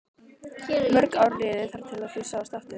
Mörg ár liðu þar til þau sáust aftur.